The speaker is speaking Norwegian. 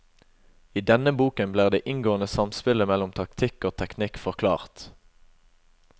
I denne boken blir det inngående samspillet mellom taktikk og teknikk forklart.